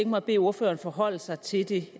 mig at bede ordføreren forholde sig til det